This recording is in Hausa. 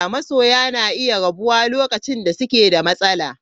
Masoya na iya rabuwa lokacin da suke da matsala.